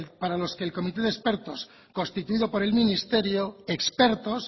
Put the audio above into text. para los que el comité de expertos constituido por el ministerio expertos